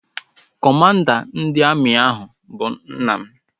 Kọmanda ndị amị ahụ bụ nna m